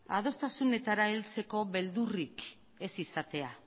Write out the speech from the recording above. adostasunetara heltzeko beldurrik ez izatea